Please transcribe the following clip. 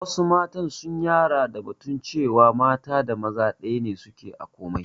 Wassu mata sun yara da batun cewa mata da maza ɗaya suke a komai